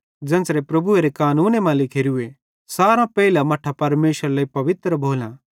ज़ेन्च़रे प्रभुएरे कानूने मां लिखोरूए सारां पेइलां मट्ठां परमेशरे लेइ पवित्र भोलां